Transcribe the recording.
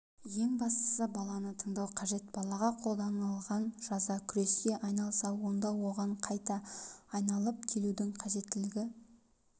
ең бастысы баланы тыңдау қажет балаға қолданылған жаза күреске айналса онда оған қайта айналып келудің қажеттілігі